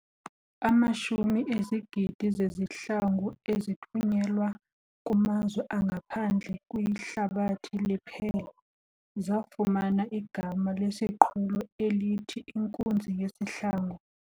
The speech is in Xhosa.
amashumi ezigidi zezihlangu ezithunyelwa kumazwe angaphandle kwihlabathi liphela, zafumana igama lesiqhulo elithi "inkunzi yesihlangu.